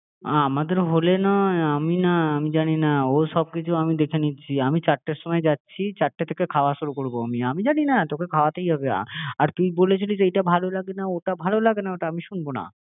আমাদের হলে নয় আমি না আমি জানি না ও সব কিছু আমি দেখে নিচ্ছি আমি চারটের সময় যাচ্ছি চারটের থেকে খাওয়া শুরু করবো আমি জানি না তোকে খাওয়াতেই হবে আর তুই বলেছিলিস এটা ভালো লাগে না ওটা ভালো লাগে না ওটা আমি শুনবো না